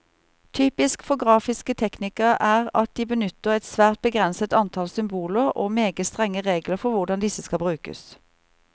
Typisk for grafiske teknikker er at de benytter et svært begrenset antall symboler, og meget strenge regler for hvordan disse skal brukes.